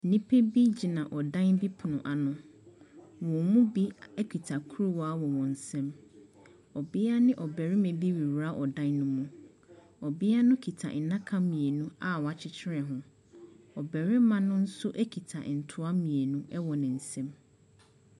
Nnipa bi gyina ɔdan bi pono ano. Wɔn mu bi kita kuruwa wɔ wɔn nsam. Ɔbea ne ɔbarima bi rewura ɔdan no mu. Ɔbea no kita nnaka mmienu a wɔakyekyere ho. Ɔbarima no nso kita ntoa mmienu wɔ ne nsam.